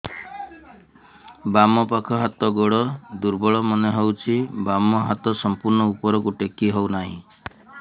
ବାମ ପାଖ ହାତ ଗୋଡ ଦୁର୍ବଳ ମନେ ହଉଛି ବାମ ହାତ ସମ୍ପୂର୍ଣ ଉପରକୁ ଟେକି ହଉ ନାହିଁ